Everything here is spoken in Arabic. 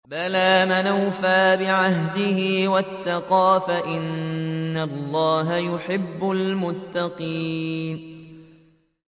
بَلَىٰ مَنْ أَوْفَىٰ بِعَهْدِهِ وَاتَّقَىٰ فَإِنَّ اللَّهَ يُحِبُّ الْمُتَّقِينَ